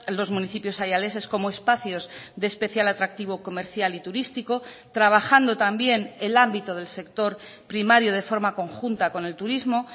los municipios ayaleses como espacios de especial atractivo comercial y turístico trabajando también el ámbito del sector primario de forma conjunta con el turismo